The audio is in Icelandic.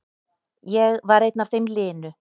Ég var einn af þeim linu.